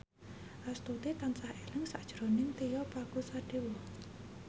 Astuti tansah eling sakjroning Tio Pakusadewo